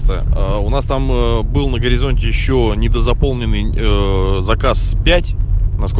странно у нас там был на горизонте щенята заполнены до заказ пять на